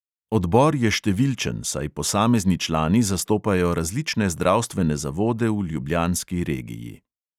Odbor je številčen, saj posamezni člani zastopajo različne zdravstvene zavode v ljubljanski regiji.